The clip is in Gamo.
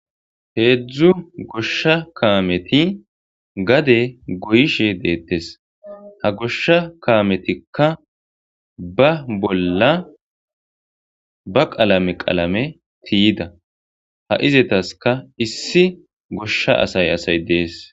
heedzdzu goshsha kaameti gade goyishe deettes ha goshsha kaametikka ba bolla ba qalame qalame tiyida ha izetaska issi goshsha asay asay dees